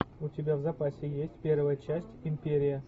у тебя в запасе есть первая часть империя